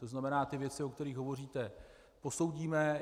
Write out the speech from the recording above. To znamená, ty věci, o kterých hovoříte, posoudíme.